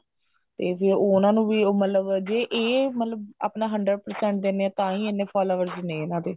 ਤੇ ਫਿਰ ਉਹਨਾ ਨੂੰ ਵੀ ਉਹ ਮਤਲਬ ਜੇ ਇਹ ਆਪਣਾ hundred percent ਦਿੰਦੇ ਨੇ ਤਾਹੀਂ ਇੰਨੇ followers ਨੇ ਇਹਨਾ ਦੇ